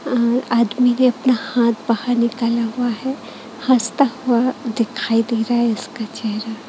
अह आदमी ने अपना हाथ बाहर निकाला हुआ है हँसता हुआ दिखाई दे रहा है इसका चेहरा।